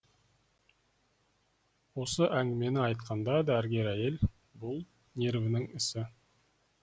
осы әңгімені айтқанда дәрігер әйел бұл нервінің ісі